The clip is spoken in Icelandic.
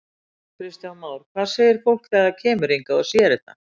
Kristján Már: Hvað segir fólk þegar það kemur hingað og sér þetta?